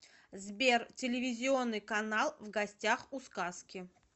сбер телевизионный канал в гостях у сказки